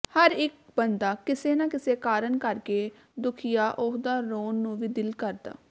ਹਰ ਇਕ ਬੰਦਾ ਕਿਸੇ ਨਾ ਕਿਸੇ ਕਾਰਨ ਕਰਕੇ ਦੁਖੀਆ ਓਹਦਾ ਰੋਣ ਨੂੰ ਵੀ ਦਿਲ ਕਰਦਾ